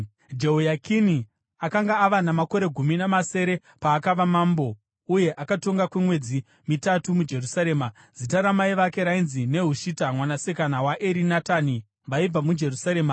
Jehoyakini akanga ava namakore gumi namasere paakava mambo, uye akatonga kwemwedzi mitatu muJerusarema. Zita ramai vake rainzi Nehushita mwanasikana waErinatani; vaibva muJerusarema.